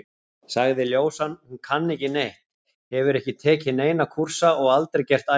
sagði ljósan, hún kann ekki neitt, hefur ekki tekið neina kúrsa og aldrei gert æfingar!